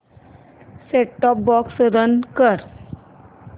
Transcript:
set top box run कर